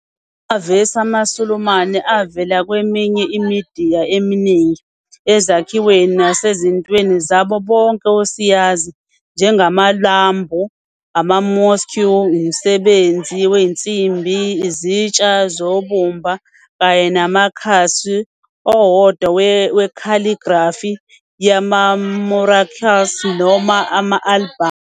Amavesi amaSulumane avela kweminye imidiya eminingi, ezakhiweni nasezintweni zabo bonke osayizi, njengamalambu ama- mosque, umsebenzi wensimbi, izitsha zobumba kanye namakhasi owodwa we-calligraphy yama- muraqqas noma ama-albhamu.